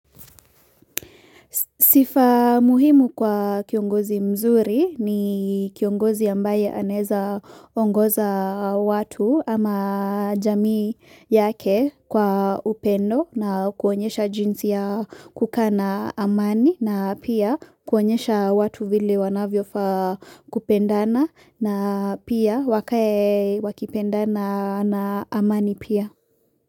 Sifa muhimu kwa kiongozi mzuri ni kiongozi ambaye anezaongoza watu ama jamii yake kwa upendo na kuonyesha jinsi ya kukaa na amani na pia kuonyesha watu vile wanavyofaa kupendana na pia wake wakipendana na amani pia.